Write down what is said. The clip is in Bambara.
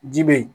Ji be yen